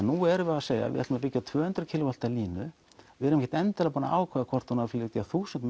nú erum við að segja við ætlum að byggja tvö hundruð k w línu við erum ekkert endilega búin að ákveða hvort hún eigi að flytja þúsund